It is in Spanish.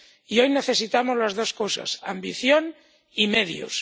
Y hoy necesitamos las dos cosas, ambición y medios.